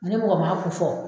Ni mɔgɔ ma ko fɔ